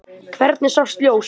Hvergi sást ljós.